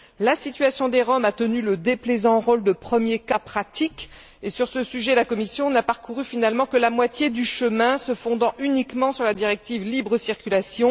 La situation des Roms a tenu le déplaisant rôle de premier cas pratique et, sur ce sujet, la Commission n'a parcouru finalement que la moitié du chemin, se fondant uniquement sur la directive libre circulation.